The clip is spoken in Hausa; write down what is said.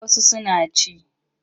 Eh wasu suna ci.